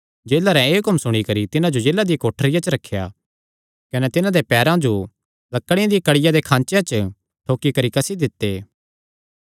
जेलरैं एह़ हुक्म सुणी करी तिन्हां जो जेला दी कोठरिया च रखेया कने तिन्हां देयां पैरां जो लकड़िया दिया कढ़िया दे खाँचेया च ठोकी करी कसी दित्ते